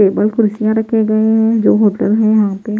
table कुर्सियां रखे गए हैं जो होटल है यहाँ पे--